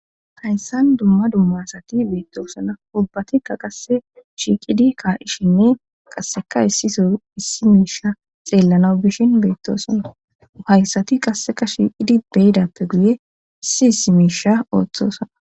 Hayssan dumma dummaasati beettoosona ubbatikka qasse shiiqidi kaa'ishinne qasseka issiso issi miisha xeellanaw bishin beettosona uhayssati qasseka shiiqidi beyidappe guye issi issi miisha ooththosona